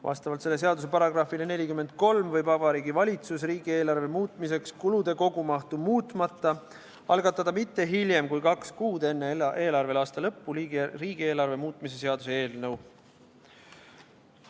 Vastavalt selle seaduse §-le 43 võib Vabariigi Valitsus riigieelarve muutmiseks kulude kogumahtu muutmata algatada mitte hiljem kui kaks kuud enne eelarveaasta lõppu riigieelarve muutmise seaduse eelnõu.